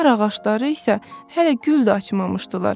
Nar ağacları isə hələ gül də açmamışdılar.